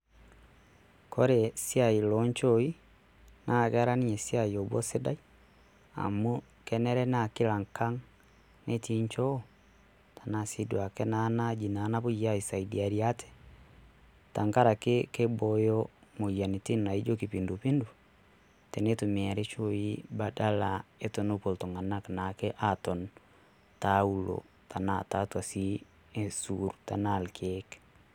Kore siai loo nchooii naa Kera ninye siai lobo sidai amu kenare naa kila Engang' netii inchoo tenaa sii duake ena aji napoi aisadiare ate tengaraki keiboyio imoyiaritin naijio kipindupindu teneitumiari inchoii badala otenepuo iltung'anak naake aaton teuluo tenaa tiatua sii isurr tenaa irkiek.